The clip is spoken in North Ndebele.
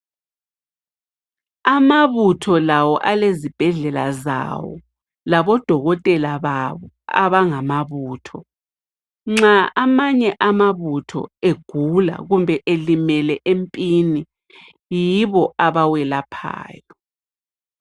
Amabutho lawo alezibhedlela zawo laboDokotela babo abangamabutho. Nxa amanye amabutho egula kumbe elimele empini, yibo abawelaphayo.